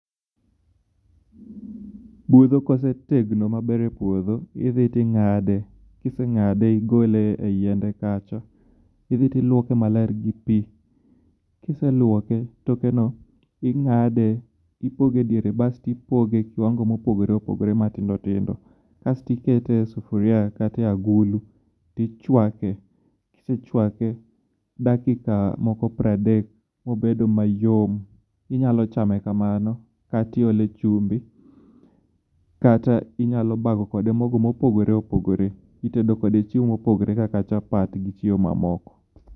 Budho kosetegno maber e puodho idhi ting'ade. Kiseng'ade igole e yiende kacha idhi tiluoke maler gi pi. Kiseluoke tokeno ing'ade ipoge ediere basto ipoge e kiwango mopogore opogore matindo tindo. Kastikete e sufuria kata e agulu tichwake . Kisechwake dakika moko piero adek(30) mobedo mayom, inyalo chame kamano katiole chumbi kata inyalo bago kode mogo mopogore opogore itedo kode chiemo mopogore kaka chapat gi chiemo mamoko.